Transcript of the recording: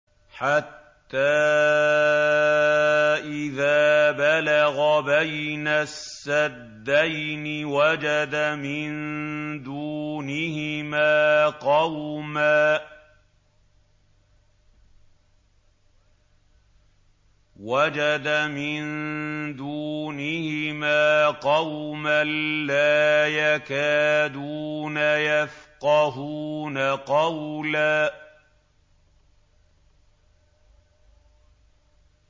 حَتَّىٰ إِذَا بَلَغَ بَيْنَ السَّدَّيْنِ وَجَدَ مِن دُونِهِمَا قَوْمًا لَّا يَكَادُونَ يَفْقَهُونَ قَوْلًا